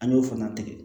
An y'o fana tigɛ